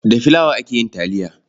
Da filawa ake yin taliya.